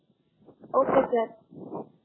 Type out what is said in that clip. Okay sir.